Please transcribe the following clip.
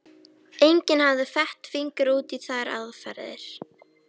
Enginn hafði fett fingur út í þær aðferðir.